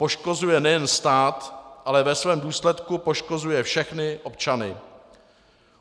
Poškozuje nejen stát, ale ve svém důsledku poškozuje všechny občany.